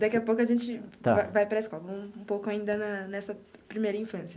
Daqui a pouco a gente vai vai para a escola, um pouco ainda na nessa primeira infância.